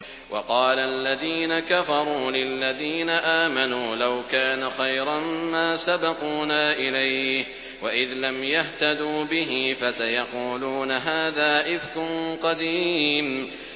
وَقَالَ الَّذِينَ كَفَرُوا لِلَّذِينَ آمَنُوا لَوْ كَانَ خَيْرًا مَّا سَبَقُونَا إِلَيْهِ ۚ وَإِذْ لَمْ يَهْتَدُوا بِهِ فَسَيَقُولُونَ هَٰذَا إِفْكٌ قَدِيمٌ